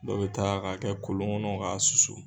dɔ bɛ taa k'a kɛ kolon ŋɔnɔ k'a susu